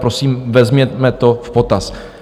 Prosím, vezměme to v potaz.